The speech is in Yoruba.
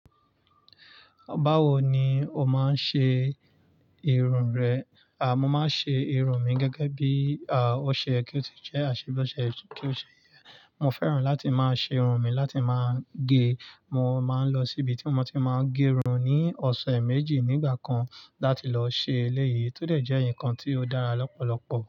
Báwo ni o máa ń ṣe irun rẹ? A! Mo máa ń ṣe irun mi gẹ́gẹ́ bí, a, ó ṣe ye kí ó ti jẹ́, mo maa ṣe bó ṣe kí ó ṣe yẹ. Mo fẹ́ràn láti máa ṣe irun mi láti máa ń gé. Mo máa ń lọ síbi tí mo ti máa ń gé irun ní ọ̀sẹ̀ méjì nígbà kan láti lọ ṣe eléyìí, tó dẹ̀ jẹ́ ǹkan tí ó dára lọ́pọ̀lọpọ̀